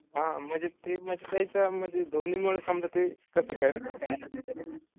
हां म्हनजे ते म त्यायचं म्हनजे धोनी मूळ समद ते कस खेळतात